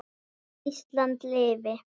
Ísland lifi.